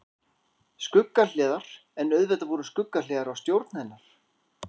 Skuggahliðar En auðvitað voru skuggahliðar á stjórn hennar.